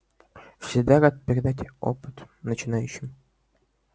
всегда рад передать опыт начинающим